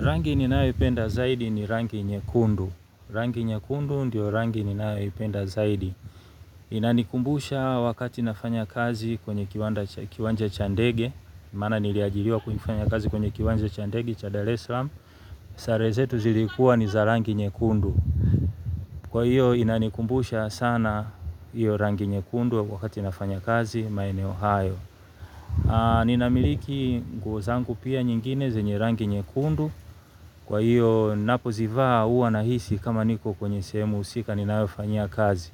Rangi ninayo penda zaidi ni rangi nyekundu. Rangi nyekundu ndio rangi ninayo penda zaidi. Inanikumbusha wakati nafanya kazi kwenye kiwanja cha ndege. Maana niliajiriwa kuifanya kazi kwenye kiwanja cha ndege cha daresalaam. Sare zetu zilikuwa ni za rangi nyekundu. Kwa hiyo inanikumbusha sana hiyo rangi nyekundu wakati nafanya kazi maeneo hayo. Ninamiliki nguo zangu pia nyingine zenye rangi nyekundu. Kwa hiyo napozivaa huwa nahisi kama niko kwenye sehemu husika ninayofanyia kazi.